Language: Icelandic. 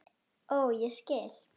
Ó, ég skil!